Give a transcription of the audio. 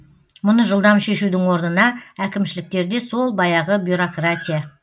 мұны жылдам шешудің орнына әкімшіліктерде сол баяғы бюрократия